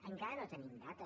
encara no hi tenim data